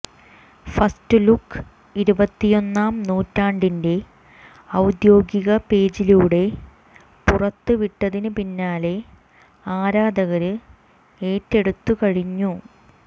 first look ഇരുപത്തിയൊന്നാം നൂറ്റാണ്ടിന്റെ ഔദ്യോഗിക പേജിലൂടെ പുറത്ത് വിട്ടതിന് പിന്നാലെ ആരാധകര് ഏറ്റെടുത്തുകഴിഞ്ഞു